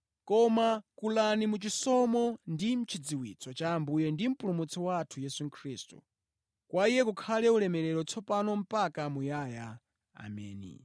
Koma kulani mu chisomo ndi mʼchidziwitso cha Ambuye ndi Mpulumutsi wathu Yesu Khristu. Kwa Iye kukhale ulemerero tsopano mpaka muyaya. Ameni.